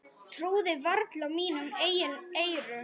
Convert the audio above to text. Trúði varla mínum eigin eyrum.